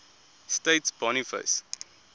states boniface